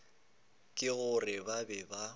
ke gore ba be ba